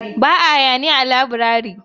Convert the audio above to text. Ba a hayaniya a laburare